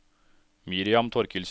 Miriam Thorkildsen